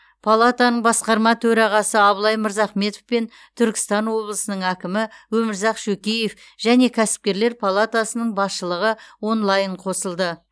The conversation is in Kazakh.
палатаның басқарма төрағасы абылай мырзахметов пен түркістан облысының әкімі өмірзақ шөкеев және кәсіпкерлер палатасының басшылығы онлайн қосылды